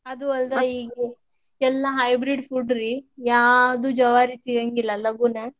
ಅದು ಅಲ್ದ ಈ ಎಲ್ಲಾ hybrid food ರೀ ಯಾವ್ದು ಜವಾರಿ ಸಿಗಾಂಗಿಲ್ಲಾ ಲಘುನ.